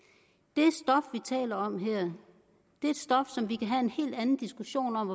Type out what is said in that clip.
taler om her er et stof som vi kan have en helt anden diskussion om